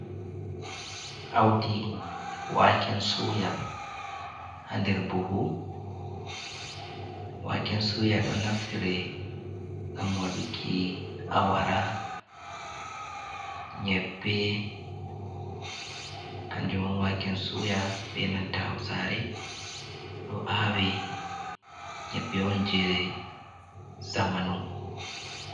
Audi waken suya ha nder buhu waken suya ɗo naftire ngam waɗuki wara, nyebbe kanjum on waken suya benanta hausare ɗo awe nyebbe on je zamanu.